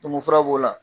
Tumu fura b'o la